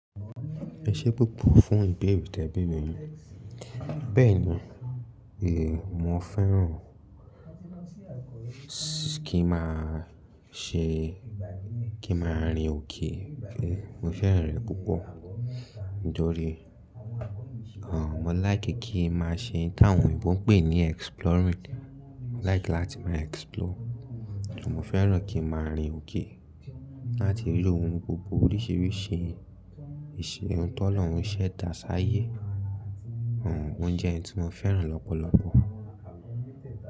Ẹ ṣé púpọ̀ fún ìbéèrè tí ẹ béèrè mi. Bẹ́ẹ̀ni, è mo fẹ́ràn kí ma ṣe, kí ma rin òkè. Mo fẹ́rẹ̀ rẹ̀ púpọ̀ jọrí. Àwọn, mo láì kí kí ma ṣe, kí àwọn òyìnbó pè ní exploring. Mo láì kí láti ma explore. Mo fẹ́ràn kí ma rin òkè láti rí ohun gbogbo oríṣìíríṣìí ìṣe, ohun tó lọ, ohun ṣe é dà sáyé. Oún jẹ́ ohun tí mo fẹ́ràn lọ́pọ̀lọpọ̀